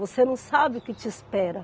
Você não sabe o que te espera.